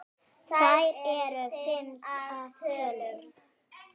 Þær eru fimm að tölu.